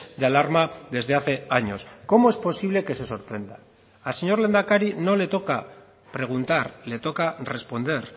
de alarma desde hace años cómo es posible que se sorprenda al señor lehendakari no le toca preguntar le toca responder